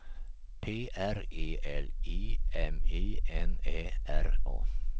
P R E L I M I N Ä R A